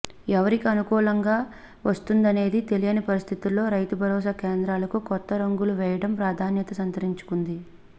ఎవరికి అనుకూలంగా వస్తుందనేది తెలియని పరిస్థితుల్లో రైతు భరోసా కేంద్రాలకు కొత్త రంగులు వేయడం ప్రాధాన్యతను సంతరించుకుంది